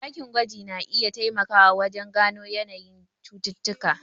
Dakin gwajin na iya taimakawa wajen gano yanayin cututtuka.